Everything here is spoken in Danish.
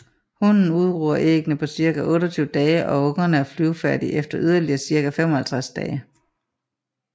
Hunnen udruger æggene på cirka 28 dage og ungerne er flyvefærdige efter yderligere cirka 55 dage